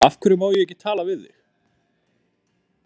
Af hverju má ég ekki tala við þig?